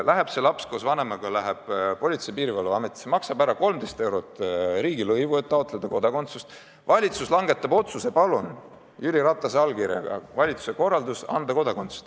Läheb see laps koos vanemaga Politsei- ja Piirivalveametisse, maksab ära 13 eurot riigilõivu, et taotleda kodakondsust, valitsus langetab otsuse: palun, siin on Jüri Ratase allkirjaga valitsuse korraldus anda kodakondsus.